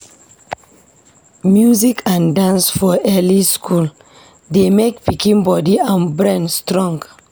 Music and dance for early school dey make pikin body and brain strong.